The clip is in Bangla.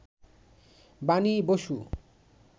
বাণী বসু